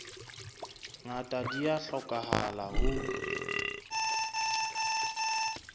ngata di a hlokahala ho